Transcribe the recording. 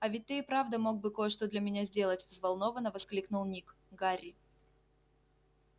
а ведь ты и правда мог бы кое-что для меня сделать взволнованно воскликнул ник гарри